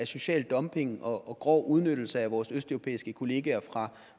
social dumping og grov udnyttelse af vores østeuropæiske kolleger fra